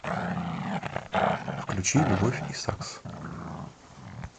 включи любовь и сакс